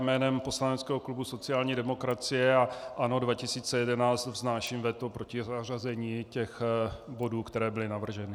Jménem poslaneckého klubu sociální demokracie a ANO 2011 vznáším veto proti zařazení těch bodů, které byly navrženy.